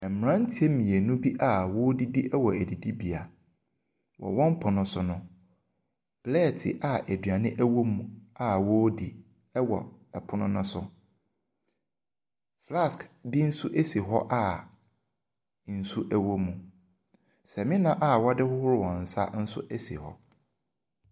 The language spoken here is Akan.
Mmeranteɛ mmienu bi a wɔredidi wɔ adidibea. Wɔ wɔn pono so no. plɛɛte a aduane wɔ mu a wɔredi wɔ pono no so. Flask bi nso si hɔ a nsuo wɔ mu. Samina a wɔde hohoro wɔn nsa nso si hɔ.